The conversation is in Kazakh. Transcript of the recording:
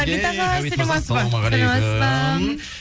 ғабит ағай саламатсыз ба ассалаумағалейкум